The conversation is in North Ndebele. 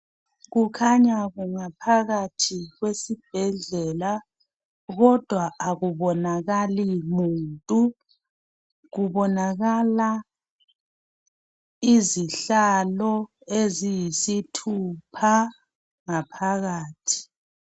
kukhanya kunga phakathi kwesibhedlela kodwa akubonakali muntu kubonakala izihlalo eziyisithupha ngaphakathi